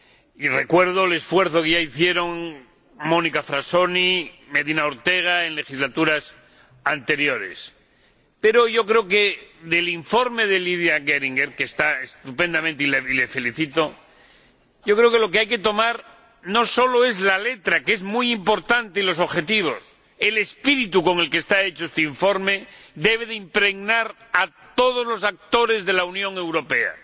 Y recuerdo el esfuerzo que ya hicieron Monica Frassoni y Medina Ortega en legislaturas anteriores. Pero yo creo que del informe de Lidia Geringer —que está estupendamente y la felicito por ello—, lo que hay que tomar no sólo es la letra —que es muy importante— y los objetivos, sino también el espíritu con el que está hecho este informe, que debe impregnar a todos los actores de la Unión Europea.